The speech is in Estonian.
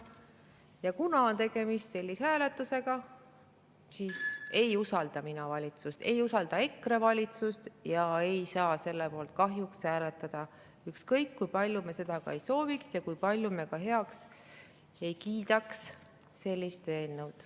Seega, kuna on tegemist sellise hääletusega, aga mina ei usalda valitsust, ka EKRE ei usalda valitsust, siis ei saa me kahjuks selle poolt hääletada, ükskõik kui palju me seda ei sooviks ja kui palju me ka ei kiidaks heaks sellist eelnõu.